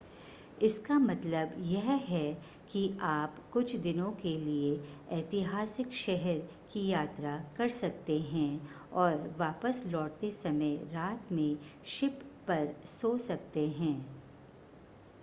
इसका मतलब यह है कि आप कुछ दिनों के लिए ऐतिहासिक शहर की यात्रा कर सकते हैं और वापस लौटते समय रात में शिप पर सो सकते हैं